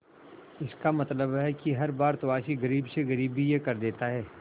इसका मतलब है कि हर भारतवासी गरीब से गरीब भी यह कर देता है